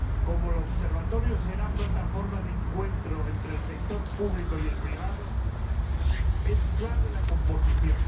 Como el Observatorio será plataforma de encuentro entre el sector público y el privado, es clave su composición.